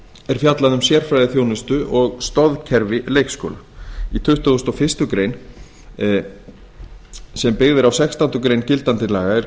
er fjallað um sérfræðiþjónustu og stoðkerfi leikskóla í tuttugasta og fyrstu grein sem byggð er á sextándu grein gildandi laga er